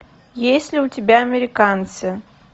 есть ли у тебя американцы